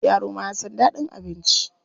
Yaro ma ya san daɗin abinci.